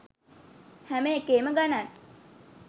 හැම එකේම ගණන්